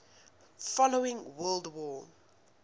following world war